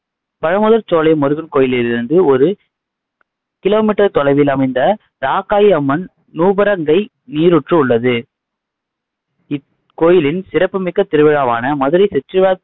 பழமுதிர்சோலை முருகன் கோயிலிலிருந்து ஒரு kilometer தொலைவில் அமைந்த ராக்காயி அம்மன் நூபுரங்கை நீரூற்று உள்ளது இக்கோயிலின் சிறப்பு மிக்க திருவிழாவான மதுரை